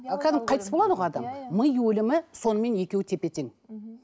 кәдімгі қайтыс болады ғой адам иә иә ми өлімі сонымен екеуі тепе тең